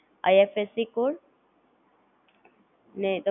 આ GooglePay, PhonePe બધા Free of cost છે,